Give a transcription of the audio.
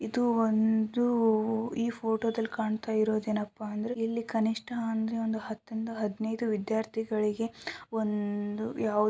ಇದು ಒಂದು ಈ ಫೋಟೋ ದಲ್ಲಿ ಕಾಣ್ತಾ ಇರೋದು ಏನಪ್ಪಾ ಅಂದ್ರೆ ಇಲ್ಲಿ ಕನಿಷ್ಠ ಅಂದ್ರೆ ಒಂದ್ ಹತ್ತರಿಂದ ಹದಿನೈದು ವಿದ್ಯಾರ್ಥಿಗಳಿಗೆ ಒಂದ್ --